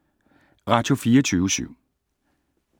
Radio24syv